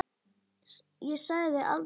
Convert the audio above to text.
Ég sagði aldrei neitt.